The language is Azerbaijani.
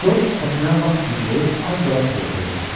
Corc səsinə lap güc verib az qala çığırtıya keçdi.